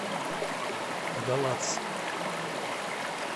галац